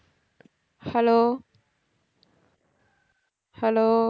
hello hello